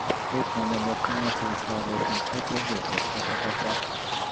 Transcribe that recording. ó um pọn dandan kí wọ́n ṣe iṣẹ́ abẹ fún un kó tó lè bọ́ pátápátá